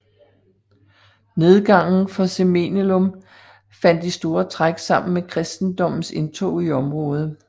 Nedgangen for Cemenelum faldt i store træk sammen med kristendommens indtog i området